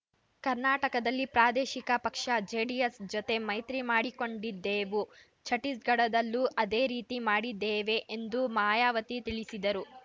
ಕರ್ನಾಟಕದಲ್ಲಿ ಪ್ರಾದೇಶಿಕ ಪಕ್ಷ ಜೆಡಿಎಸ್‌ ಜತೆ ಮೈತ್ರಿ ಮಾಡಿಕೊಂಡಿದ್ದೆವು ಛಟ್ಟೀಸ್‌ಗಢದಲ್ಲೂ ಅದೇ ರೀತಿ ಮಾಡಿದ್ದೇವೆ ಎಂದು ಮಾಯಾವತಿ ತಿಳಿಸಿದರು